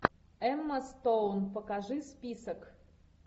эмма стоун покажи список